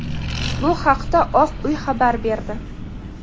Bu haqda Oq uy xabar berdi.